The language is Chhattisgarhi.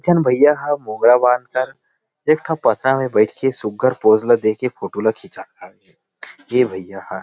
दु झन भैया हा मोंगरा बांध कर एकठा पथरा मे बैठ के सुघर पॉज ल देके फोटो ला खिचात हे ये भैया ह ।